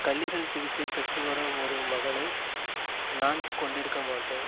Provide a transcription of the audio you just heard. கல்லீரல் சிகிச்சை பெற்று வரும் ஒரு மகனை நான் கொண்டிருக்கமாட்டேன்